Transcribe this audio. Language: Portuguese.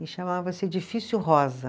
E chamava-se Edifício Rosa.